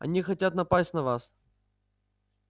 они хотят напасть на вас